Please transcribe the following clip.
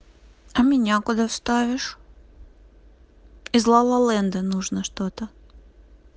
а меня куда вставишь из лалаленда нужно что-то